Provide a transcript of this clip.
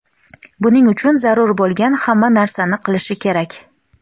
buning uchun zarur bo‘lgan hamma narsani qilishi kerak.